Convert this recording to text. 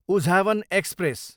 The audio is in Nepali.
उझावन एक्सप्रेस